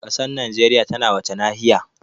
Ƙasar Najeriya tana wace nahiya?